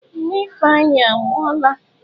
Nne Ifeanyi anwụọla.